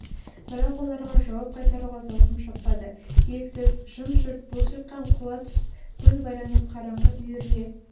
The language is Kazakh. бірақ оларға жауап қайтаруға зауқым шаппады елсіз жым-жырт бос жатқан құла түз көз байланып қараңғы үйіріле